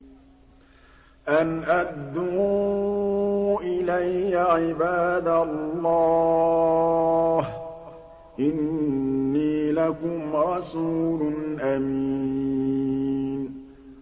أَنْ أَدُّوا إِلَيَّ عِبَادَ اللَّهِ ۖ إِنِّي لَكُمْ رَسُولٌ أَمِينٌ